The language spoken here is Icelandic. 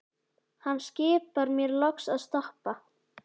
Hann skipar mér loks að stoppa.